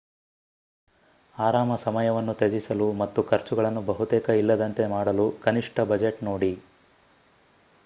ಆರಾಮ ಸಮಯವನ್ನು ತ್ಯಜಿಸಲು ಮತ್ತು ಖರ್ಚುಗಳನ್ನು ಬಹುತೇಕ ಇಲ್ಲದಂತೆ ಮಾಡಲು ಕನಿಷ್ಠ ಬಜೆಟ್ ನೋಡಿ